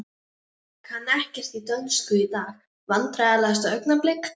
Kann ekkert í dönsku í dag Vandræðalegasta augnablik?